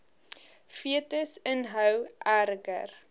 fetus inhou erger